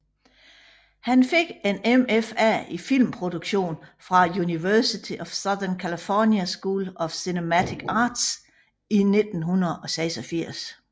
Han fik en MFA i filmproduktion fra University of Southern California School of Cinematic Arts i 1986